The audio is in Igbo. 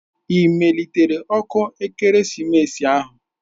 Ị melitela ọkụ ekeresimesi ahụ?